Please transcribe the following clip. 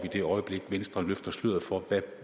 i det øjeblik venstre løfter sløret for hvad